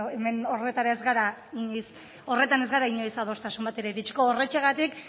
beno hemen horretan ez gara inoiz adostasun batera iritsiko horrexegatik